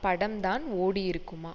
படம்தான் ஓடியிருக்குமா